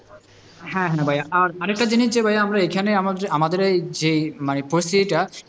হ্যাঁ হ্যাঁ ভাইয়া আর আরেকটা জিনিস যে ভাইয়া এখানে আমাদের যে মানে পরিস্থিতিটা,